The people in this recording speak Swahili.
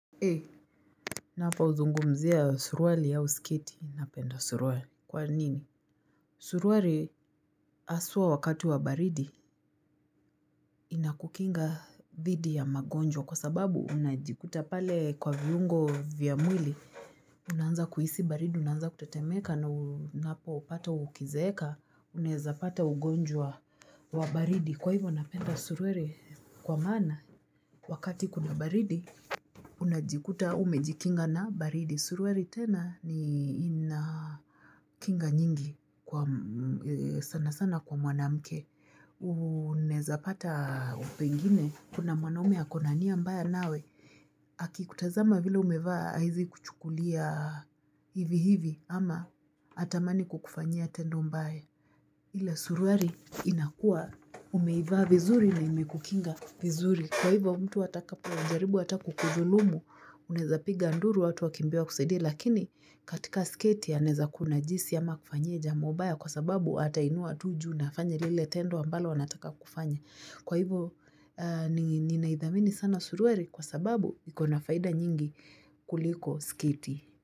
Napo zungumzia suruari ya sketi, napenda suruari. Kwa nini? Suruari haswa wakati wa baridi, inakukinga dhidi ya magonjwa kwa sababu unajikuta pale kwa viungo vya mwili. Unaanza kuhisi baridi, unaanza kutetemeeka na unapo pata ukizeeka, unaeza pata ugonjwa wa baridi. Kwa hivo napenda suruari kwa maana, wakati kuna baridi, unajikuta umejikinga na baridi. Suruari tena ni ina kinga nyingi kwa sana sana kwa mwanamke. Unaezapata pengine kuna mwanaume ako na nia mbaya nawe. Akikutazama vile umevaa haezi kuchukulia hivi hivi ama hatamani kukufanyia tendo mbaya. Ile suruari inakuwa umeivaa vizuri na imekukinga vizuri. Kwa hivyo mtu atakapo jaribu ata kukudhulumu, unaeza piga nduru watu wakimbie wa kusidie. Lakini katika sketi anaeza kuna jisi ama akufanyie jambo mbaya kwa sababu ata inua tu juu nafanya lile tendo ambalo anataka kufanya. Kwa hivyo ni naidhamini sana suruari kwa sababu ikona faida nyingi kuliko sketi.